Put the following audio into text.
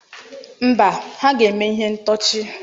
Mba, ha ga-eme ihe ntọchị.